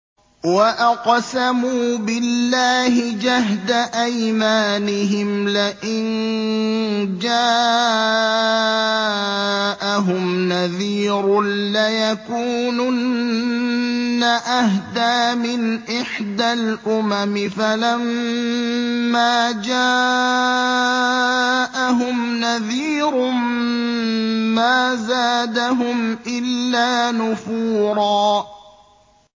وَأَقْسَمُوا بِاللَّهِ جَهْدَ أَيْمَانِهِمْ لَئِن جَاءَهُمْ نَذِيرٌ لَّيَكُونُنَّ أَهْدَىٰ مِنْ إِحْدَى الْأُمَمِ ۖ فَلَمَّا جَاءَهُمْ نَذِيرٌ مَّا زَادَهُمْ إِلَّا نُفُورًا